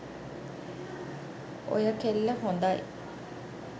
ඔය කෙල්ල හොඳයි.